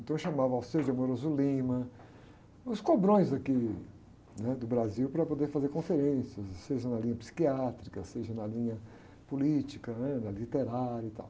Então chamava o, os cobrões daqui, né? Do Brasil para poder fazer conferências, seja na linha psiquiátrica, seja na linha política, né? Na literária e tal.